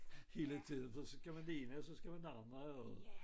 Hele tiden for så skal man det ene og så skal man det andet og